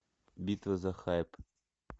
битва за хайп